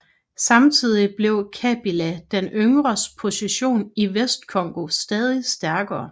Samtidig blev Kabila den yngres position i Vestcongo stadig stærkere